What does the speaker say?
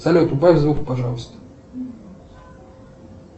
салют убавь звук пожалуйста